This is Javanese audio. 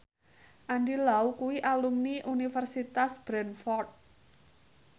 Andy Lau kuwi alumni Universitas Bradford